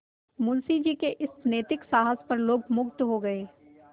मुंशी जी के इस नैतिक साहस पर लोग मुगध हो गए